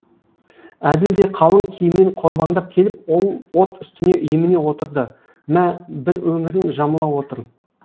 әділ де қалың киіммен қорбаңдап келіп ол от үстіне еміне отырды мә бір өңірін жамыла отыр